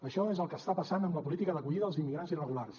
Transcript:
això és el que està passant amb la política d’acollida dels immigrants irregulars